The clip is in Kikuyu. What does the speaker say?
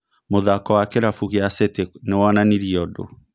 Mũthako wa kĩrabu kĩa City nĩwonanirie ũndũ